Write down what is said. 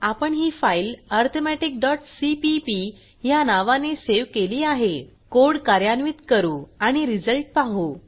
आपण ही file arithmetic C P P ह्या नावाने सेव्ह केली आहे कोड कार्यान्वित करू आणि रिझल्ट पाहू